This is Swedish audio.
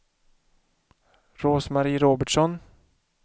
Rose-Marie Robertsson